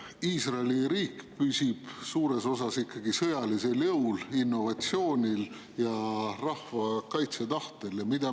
Iisraeli riik püsib suures osas ikkagi sõjalisel jõul, innovatsioonil ja rahva kaitsetahtel.